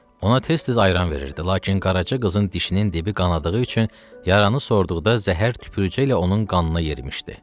Ona tez-tez ayran verirdi, lakin Qaraça qızın dişinin dibi qanadığı üçün yaranı sordukda zəhər tüpürücəklə onun qanına yemişdi.